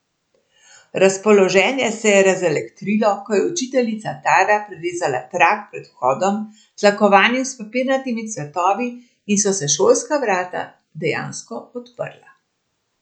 Razpoloženje se je razelektrilo, ko je učiteljica Tara prerezala trak pred vhodom, tlakovanim s papirnatimi cvetovi, in so se šolska vrata dejansko odprla.